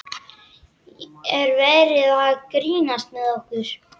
Er verið að grínast með okkur?